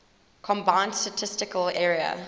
combined statistical area